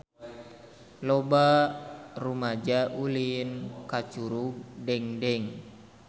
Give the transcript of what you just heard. Loba rumaja ulin ka Curug Dengdeng